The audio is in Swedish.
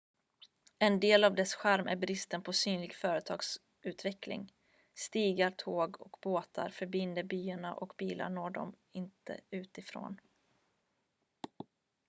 en del av dess charm är bristen på synlig företagsutveckling stigar tåg och båtar förbinder byarna och bilar når dem inte utifrån